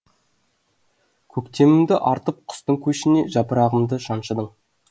көктемімді артып құстың көшіне жапырағымды жаншыдың